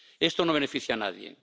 Esto no beneficia a nadie.